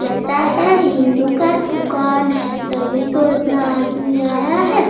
लगता है हिन्दू का दुकान है तभी तो इतना आदमी आया है |